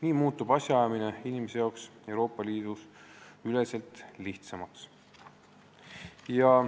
Nii muutub asjaajamine inimese jaoks Euroopa Liidus lihtsamaks.